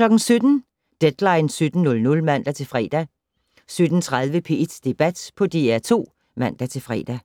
17:00: Deadline 17.00 (man-fre) 17:30: P1 Debat på DR2 (man-fre)